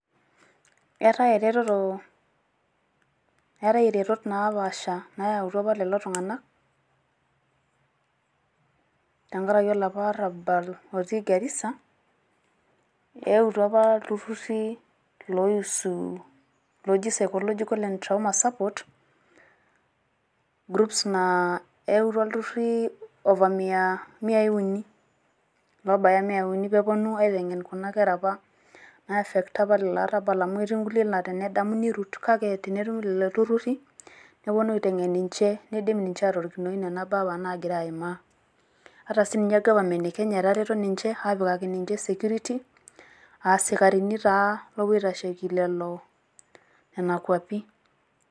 Eetae ereteto eetae eretot napaasha naayautua apa lelo Tung'anak. Tengaraki olapa orrabal otii Garisa eutua apa ilturrurri loisu looji psychological and trauma support groups naa ilturrurri ofa miai uni lobaya emiai uni pee eponu aiteng'en Kuna Kera apa naiefecta apa olo arrabal amu etii enkulie naa tenedamu neirut, kake tenetumi lelo turrurri neponu aiteng'en ninche neidm ninche atorikinoi Nena baa apa naagira aimaa. Ata sininye gafamen eKenya atareto ninche aapikaki ninche security aa sikarini taa loopuo aitasheki Nena kwapi.